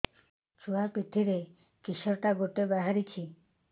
ଛୁଆ ପିଠିରେ କିଶଟା ଗୋଟେ ବାହାରିଛି